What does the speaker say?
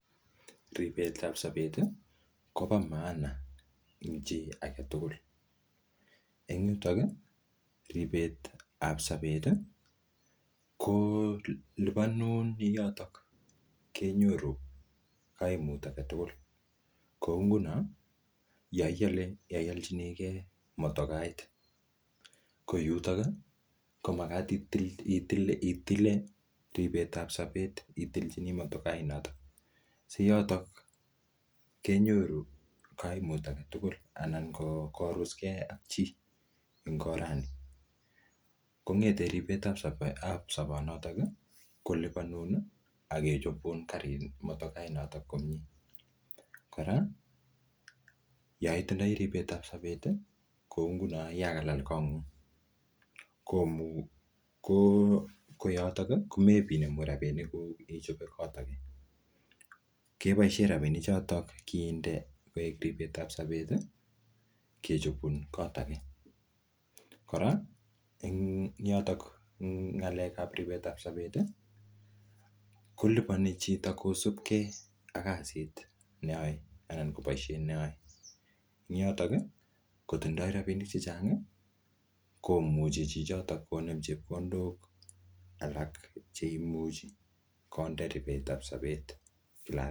Ripet ap sabet, kobo maana ing chii age tugul. Eng yutok, ripet ap sabet, ko lipanun ing yotok kenyoru kaimut age tugul. Kou nguno, yo iale, yo ialchinikei motokait, ko yutok ko magat itile-itile-itile ripet ap sabet itilchini motokait notok. Si yotok kenyoru kaimut age tugul anan ko koruskei ak chiii eng oranii, kongete ripet ap sobot-ap sobot notok, kolipanun, akechopun karit, motokaa notok komyee. Kora, yoitindoi ripet ap sabet, kou nguno yakalal kot ng'ung, komu ko-ko yotok, komepinemu rabinik kuuk ichope kot age. Keboisie rabinik chotok kinde koek ripet ap sabet, kechopun kot age. Kora, eng yotok, eng ng'alek ap ripet ap sabet, kolipani chit kosubke ak kasit neyae anan ko boisiet ne ae. Eng yotok, kotindoi rabinik chechang, komuche chichotok konem chepkondok alak che imuchi konde ripet ap sabet lakwet.